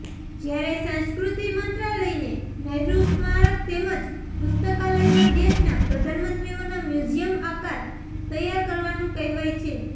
જ્યારે સંસ્કૃતિ મંત્રાલયને નહેરુ સ્મારક તેમજ પુસ્તકાલયમાં દેશના પ્રધાનમંત્રીઓના મ્યૂઝિયમ આકાર તૈયાર કરવાનું કહેવાયું છે